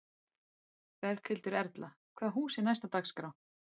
Berghildur Erla: Hvaða hús er er næst á dagskrá?